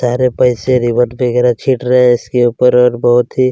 सारे पैसे रिबन वगैरह छीट रहै है इसके ऊपर और बहुत ही --